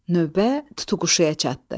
Növbə tutuquşuya çatdı.